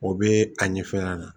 O bɛ a ɲɛ fɛnɛ